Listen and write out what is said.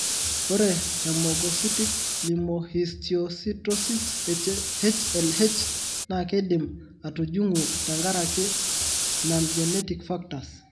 Ore Hemophagocytic lymphohistiocytosis (HLH) naa keidimi aatujung tenkaraki( non genetic factors.)